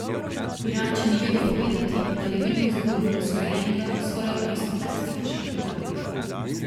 Pirančani vedo povedati, da je vedno vzbujal videz urejenega, skoraj aristokratskega človeka.